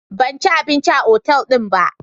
Ban ci abinci a otal din ba.